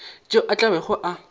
tšeo a tla bego a